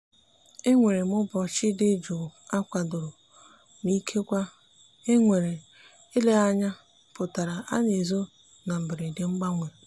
enwere m ụbọchị dị jụụ akwadoro ma ikekwe enwere eleghị anya pụtara ana ezo na mberede mgbanwe.